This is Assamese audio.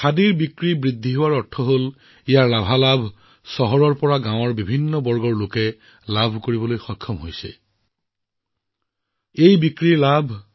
খাদীৰ বিক্ৰী বৃদ্ধিৰ অৰ্থ হল ইয়াৰ সুফল সমাজৰ বিভিন্ন শ্ৰেণীলৈ চহৰৰ পৰা গাঁৱলৈ ধাবিত হৈছে